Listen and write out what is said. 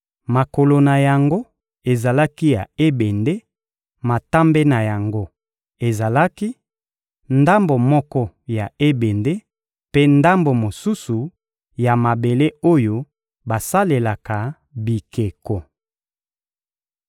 makolo na yango ezalaki ya ebende, matambe na yango ezalaki, ndambo moko ya ebende, mpe ndambo mosusu, ya mabele oyo basalelaka bikeko.